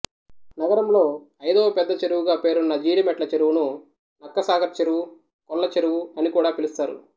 నగరంలో ఐదవ పెద్దచెరువుగా పేరున్న జీడిమెట్ల చెరువును నక్కసాగర్ చెరువు కొల్లచెరువు అనికూడా పిలుస్తారు